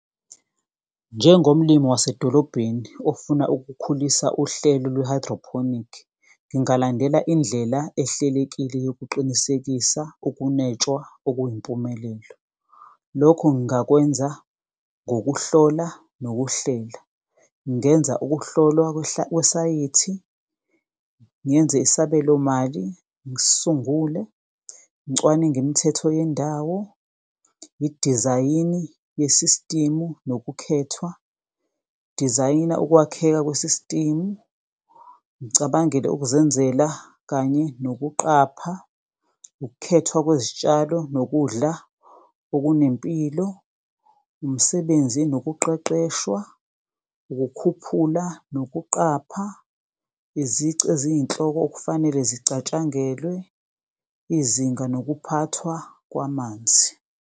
Njengomlimi wasedolobheni ofuna ukukhulisa uhlelo lwe-hydroponic. Ngingalandela indlela ehlelekile yokuqinisekisa ukunwetshwa okuyimpumelelo. Lokho ngingakwenza ngokuhlola nokuhlela, ngenza ukuhlolwa kwesayithi, ngenze isabelomali. Ngisungule, ngicwaninge imithetho yendawo. Ngidizayine i-system-u nokukhethwa, dizayina ukwakheka kwe-system. Ngicabangele ukuzenzela kanye nokuqapha, ukukhethwa kwezitshalo nokudla okunempilo. Umsebenzi, nokuqeqeshwa, ukukhuphula nokuqapha. Izici eziyinhloko okufanele zicatshangelwe, izinga nokuphathwa kwamanzi.